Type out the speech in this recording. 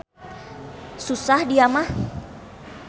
Susah dia mah.